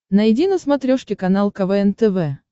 найди на смотрешке канал квн тв